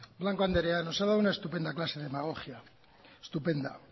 blanco andrea nos ha dado una estupenda clase de demagogia estupenda